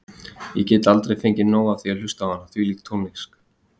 Ég get aldrei fengið nóg af að hlusta á hana, hvílík tónlist.